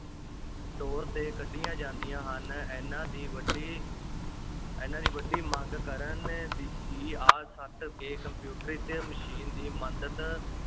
ਤੌਰ 'ਤੇ ਕੱਢੀਆਂ ਜਾਂਦੀਆਂ ਹਨ, ਇਨ੍ਹਾਂ ਦੀ ਵੱਡੀ ਇਨ੍ਹਾਂ ਦੀ ਵੱਡੀ ਮੰਗ ਕਰਨ ਦ~ ਹੀ ਆ ਸਟ 'ਤੇ ਕੰਪਿਊਟਰੀਕ੍ਰਿਤ ਮਸ਼ੀਨ ਦੀ ਮਦਦ